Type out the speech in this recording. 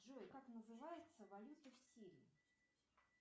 джой как называется валюта в сирии